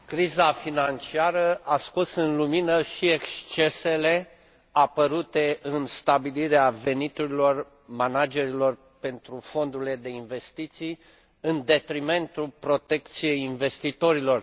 Criza financiară a scos la lumină și excesele apărute în stabilirea veniturilor managerilor pentru fondurile de investiții, în detrimentul protecției investitorilor.